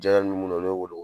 Jɛ bɛ munnuw na olu bɛ wolo.